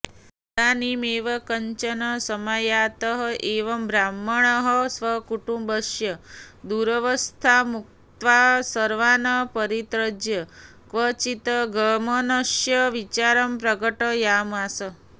तदानीमेव कश्चन समायातः यं ब्राह्मणः स्वकुटुम्बस्य दुरवस्थामुक्त्वा सर्वान् परित्यज्य क्वचिद् गमनस्य विचारं प्रकटयामास